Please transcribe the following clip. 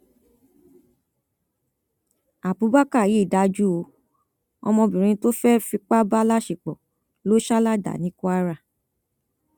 abubakar yìí dájú ó ọmọbìnrin tó fẹẹ fipá bá láṣepọ ló sá ládàá ní kwara